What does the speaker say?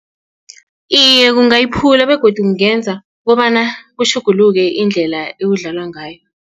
Iye, kungayiphula begodu kungenza kobana kutjhuguluke indlela ekudlalwa ngayo.